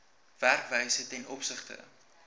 werkwyse ten opsigte